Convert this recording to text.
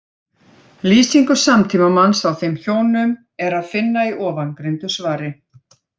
Lýsingu samtímamanns á þeim hjónum er að finna í ofangreindu svari.